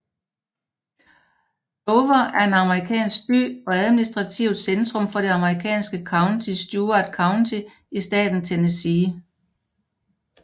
Dover er en amerikansk by og administrativt centrum for det amerikanske county Stewart County i staten Tennessee